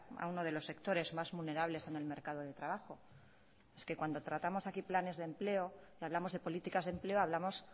a uno de los sectores más vulnerables en el mercado de trabajo es que cuando tratamos aquí planes de empleo y hablamos de políticas de empleo hablamos